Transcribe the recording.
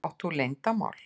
Átt þú leyndarmál?